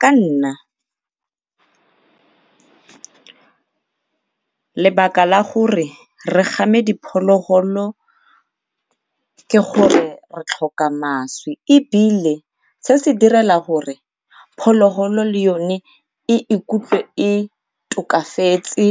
ka nna, lebaka la gore re game diphologolo ke gore re tlhoka mašwi ebile se se direla gore phologolo le yone e ikutlwe e tokafetse